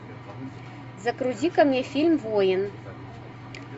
загрузи ка мне фильм воин